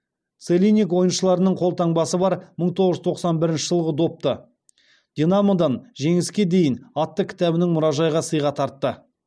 целинник ойыншыларының қолтаңбасы бар мың тоғыз жүз тоқсан бірінші жылғы допты динамодан жеңіске дейін атты кітабының мұражайға сыйға тартты